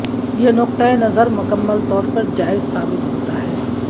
یہ نقطہ نظر مکمل طور پر جائز ثابت ہوتا ہے